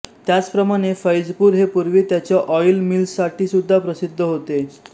त्याचप्रमाणे फैजपूर हे पूर्वी त्याच्या ऑइल मिल्ससाठीसुद्धा प्रसिद्ध होते